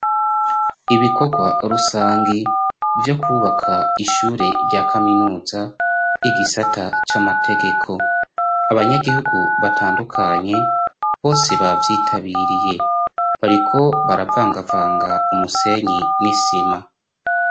Ibikorwa rusangi vyo kwubaka ishure rya kaminuza, igisata c'amategeko. Abanyagihugu batandukanye bose bavyitabiriye bariko baravangavanga umusenyi n'isima.